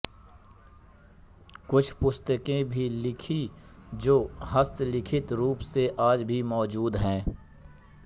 कुछ पुस्तकें भी लिखीं जो हस्तलिखित रूप से आज भी मौजूद हैं